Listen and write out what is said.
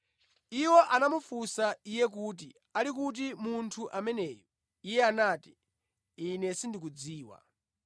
Iwo anamufunsa iye kuti, “Ali kuti munthu ameneyu?” Iye anati, “Ine sindikudziwa.”